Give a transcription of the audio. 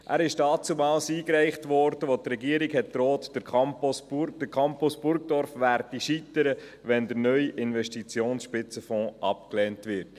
Er wurde damals eingereicht, als die Regierung drohte, der Campus Burgdorf werde scheitern, wenn der neue Investitionsspitzenfonds abgelehnt werde.